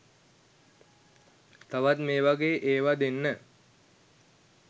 තවත් මේ වගේ ඒවා දෙන්න.